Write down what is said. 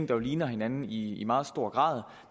der ligner hinanden i meget stor grad